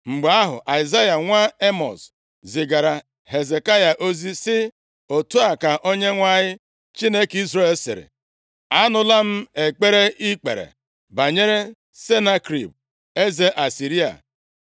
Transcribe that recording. Mgbe ahụ Aịzaya nwa Emọz zigaara Hezekaya ozi sị, “Otu a ka Onyenwe anyị, Chineke Izrel sịrị, Anụla m ekpere i kpere banyere Senakerib, eze Asịrịa.